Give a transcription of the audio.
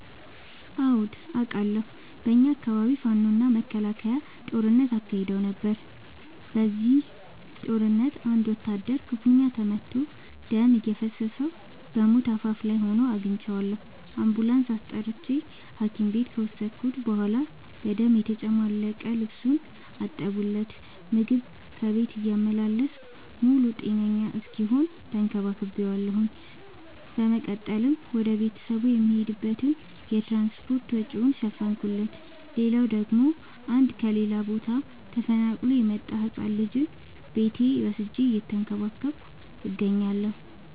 አዎድ አቃለሁ። በኛ አካባቢ ፋኖ እና መከላከያ ጦርነት አካሂደው ነበር። በዚህ ጦርነት አንድ ወታደር ክፋኛ ተመቶ ደም እየፈሰሰው በሞት አፋፍ ላይ ሆኖ አግኝቼው። አንቡላንስ አስጠርቼ ሀኪም ቤት ከወሰድከት በኋላ በደም የተጨማለቀ ልብሱን አጠብለት። ምግብ ከቤት እያመላለስኩ ሙሉ ጤነኛ እስኪሆን ተከባክ ቤዋለሁ። በመቀጠልም ወደ ቤተሰቡ የሚሄድበትን የትራንስፓርት ወጪውን ሸፈንኩለት። ሌላላው ደግሞ አንድ ከሌላ ቦታ ተፈናቅሎ የመጣን ህፃን ልጅ ቤቴ ወስጄ እየተንከባከብኩ እገኛለሁ።